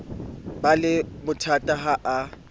ba le bothata ha a